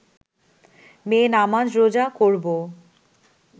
মেয়ে নামাজ রোজা করব